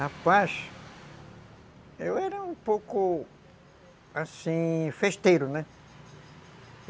Rapaz, eu era um pouco, assim, festeiro, né?